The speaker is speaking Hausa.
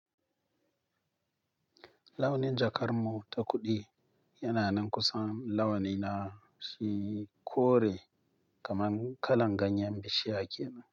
Launin jakar mu ta kuɗi yana nan kusa launin na shi kore kamar kalan ganyen bishiya kenan.